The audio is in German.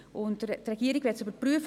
Die Regierung möchte dies überprüfen.